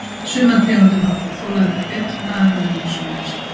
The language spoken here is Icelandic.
Sumar tegundir hafa þó þolað þetta betur en aðrar, af ýmsum ástæðum.